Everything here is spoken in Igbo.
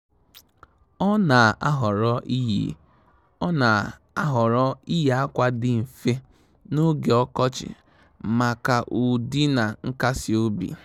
Ọ́ nà-àhọ́rọ́ iyi Ọ́ nà-àhọ́rọ́ iyi ákwà dị mfe n’ógè ọkọchị màkà ụ́dị́ na nkasi obi.